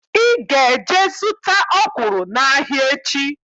Ị ga-eje zụta ọkwụrụ n'ahịa echi!